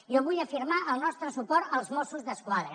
jo vull afirmar el nostre suport als mossos d’esquadra